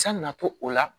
San natɔ o la